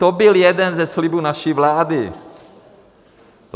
To byl jeden ze slibů naší vlády.